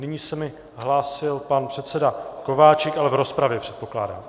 Nyní se mi hlásil pan předseda Kováčik, ale v rozpravě, předpokládám.